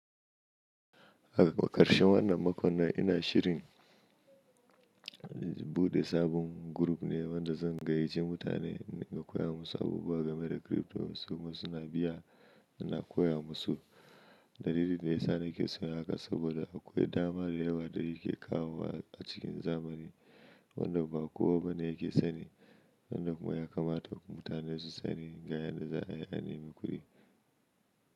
A ƙarshen wannan makon nan ina shirin buɗe sabon gurup ne wanda zan gayyaci mutane in riƙa koya musu abubuwa game da crypto. Saboda suna biya ina koya musu. Dalilin da ya sa nake son yin haka saboda akwai dama da yawa da yake kawowa a cikin zamani wanda ba kowa ba ne yake sani, wanda kuma ya kamata mutane su sani ga yanda za a yi anemi mi ƙudi.